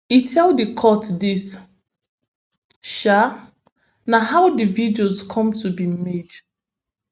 e tell di court dis um na how di videos come to be made